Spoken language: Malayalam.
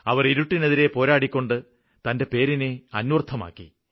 അവര് ഇരുട്ടിനെതിരെ പോരാടിക്കൊണ്ട് തന്റെ പേരിനെ അന്വര്ത്ഥമാക്കി